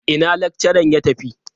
Ina lakcharan ya tafi?